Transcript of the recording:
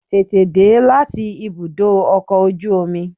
Tètè dé láti ibùdó ọkọ̀ ojú omi